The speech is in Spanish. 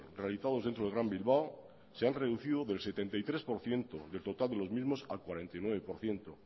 realizados dentro del gran bilbao se han reducido del setenta y tres por ciento del total de los mismos al cuarenta y nueve por ciento